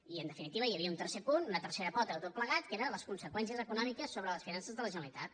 i en definitiva hi havia un tercer punt una tercera pota de tot plegat que era les conseqüències econòmiques sobre les finances de la generalitat